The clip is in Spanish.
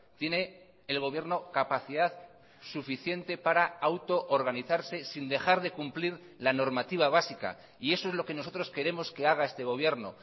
tiene el gobierno capacidad suficiente para auto organizarse sin dejar de cumplir la normativa básica y eso es lo que nosotros queremos que haga este gobierno